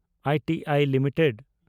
I T I limited